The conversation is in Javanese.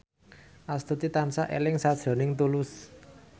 Astuti tansah eling sakjroning Tulus